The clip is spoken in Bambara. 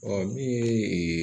Ɔ min ye ee